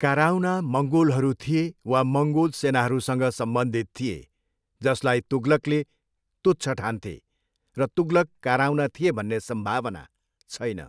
काराउना मङ्गोलहरू थिए वा मङ्गोल सेनाहरूसँग सम्बन्धित थिए, जसलाई तुगलकले तुच्छ ठान्थे, र तुगलक काराउना थिए भन्ने सम्भावना छैन।